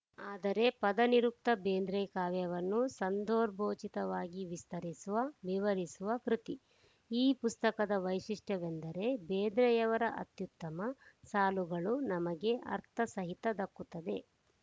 ಆದರೆ ಪದನಿರುಕ್ತ ಬೇಂದ್ರೆ ಕಾವ್ಯವನ್ನು ಸಂದರ್ಭೋಚಿತವಾಗಿ ವಿಸ್ತರಿಸುವ ವಿವರಿಸುವ ಕೃತಿ ಈ ಪುಸ್ತಕದ ವೈಶಿಷ್ಟ್ಯವೆಂದರೆ ಬೇಂದ್ರೆಯವರ ಅತ್ಯುತ್ತಮ ಸಾಲುಗಳು ನಮಗೆ ಅರ್ಥಸಹಿತ ದಕ್ಕುತ್ತದೆ